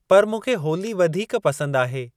पर मूंखे होली वधीक पसंद आहे।